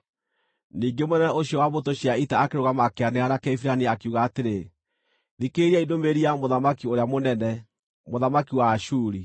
Ningĩ mũnene ũcio wa mbũtũ cia ita akĩrũgama akĩanĩrĩra na Kĩhibirania, akiuga atĩrĩ, “Thikĩrĩriai ndũmĩrĩri ya mũthamaki ũrĩa mũnene, mũthamaki wa Ashuri!